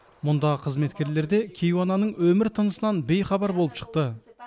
мұндағы қызметкерлер де кейуананың өмір тынысынан бейхабар болып шықты